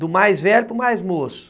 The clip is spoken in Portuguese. Do mais velho para o mais moço.